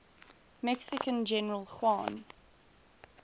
mexican general juan